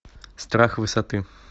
страх высоты